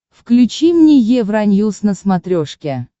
включи мне евроньюс на смотрешке